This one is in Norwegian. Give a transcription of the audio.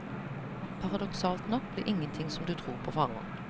Paradoksalt nok blir ingenting som du tror på forhånd.